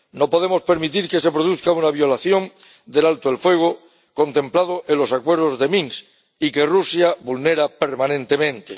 No podemos permitir que se produzca una violación del alto el fuego contemplado en los acuerdos de Minsk y que Rusia vulnera permanentemente.